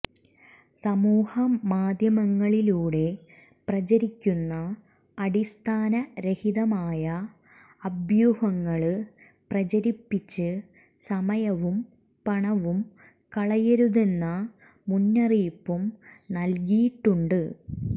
സമൂഹ മാധ്യമങ്ങളിലൂടെ പ്രചരിക്കുന്ന അടിസ്ഥാന രഹിതമായ അഭ്യൂഹങ്ങള് പ്രചരിപ്പിച്ച് സമയവും പണവും കളയരുതെന്ന മുന്നറിയിപ്പും നല്കിയിട്ടുണ്ട്